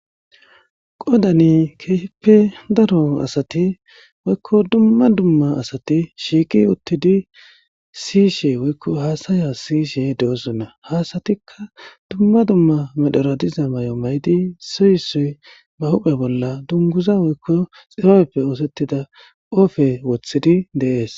Qodan keehippe daro asati woykko dumma dumma asati shiiqi utidi siyishe woyko hasa'asa siyishe de'osona. Ha asatika dumma dumma medhora diza mayo mayid issoy issoy ba huphe bolla dunguza woyko xibabeppe osetida qope wothidi de'es.